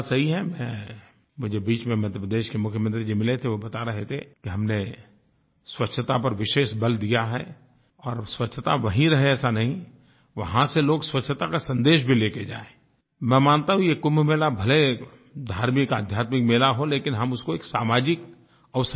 मुझे बीच में मध्यप्रदेश के मुख्यमंत्री जी मिले थे वो बता रहे थे कि हमने स्वच्छता पर विशेष बल दिया है और स्वच्छता वहीं रहे ऐसा नहीं वहाँ से लोग स्वच्छता का संदेश भी ले के जाएँI मैं मानता हूँ ये कुंभ मेला भले धार्मिकआध्यात्मिक मेला हो लेकिन हम उसको एक सामाजिक अवसर भी बना सकते हैं